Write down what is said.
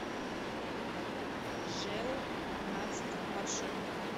жэу пятнадцать маршрут